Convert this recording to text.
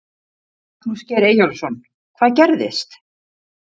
Magnús Geir Eyjólfsson: Hvað gerðist?